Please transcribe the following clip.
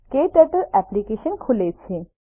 ક્ટર્ટલ application ખુલે છે